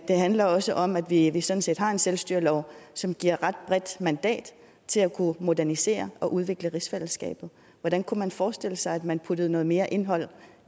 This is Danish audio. det handler også om at vi vi sådan set har en selvstyrelov som giver et ret bredt mandat til at kunne modernisere og udvikle rigsfællesskabet hvordan kunne man forestille sig at man puttede noget mere indhold